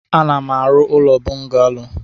Ana m arụ ụlọ bungalo.